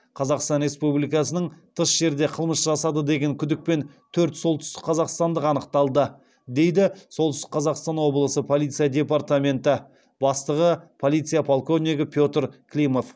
қазақстан республикасының тыс жерде қылмыс жасады деген күдікпен төрт солтүстікқазақстандық анықталды дейді солтүстік қазақстан облысы полиция департаменті бастығы полиция полковнигі петр климов